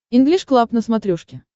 инглиш клаб на смотрешке